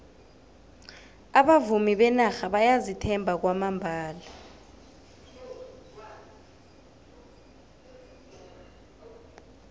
abavumi benarha bayazithemba kwamambala